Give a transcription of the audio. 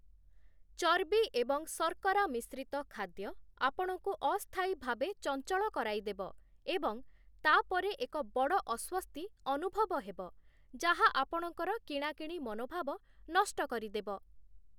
ଚର୍ବି ଏବଂ ଶର୍କରା ମିଶ୍ରିତ ଖାଦ୍ୟ ଆପଣଙ୍କୁ ଅସ୍ଥାୟୀ ଭାବେ ଚଞ୍ଚଳ କରାଇଦେବ ଏବଂ ତା' ପରେ ଏକ ବଡ଼ ଅସ୍ଵସ୍ତି ଅନୁଭବ ହେବ, ଯାହା ଆପଣଙ୍କର କିଣାକିଣି ମନୋଭାବ ନଷ୍ଟ କରିଦେବ ।